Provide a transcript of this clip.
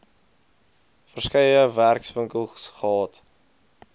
verskeie werkswinkels gehad